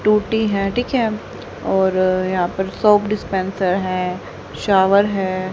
टूटी है ठीक है और यहां पर सोप डिस्पेंसर है शावर है।